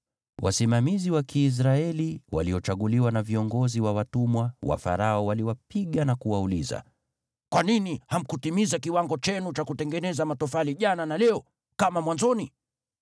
Wasimamizi wa Kiisraeli waliochaguliwa na viongozi wa watumwa wa Farao walipigwa na kuulizwa, “Kwa nini hamkutimiza kiwango chenu cha kutengeneza matofali jana na leo, kama mwanzoni?”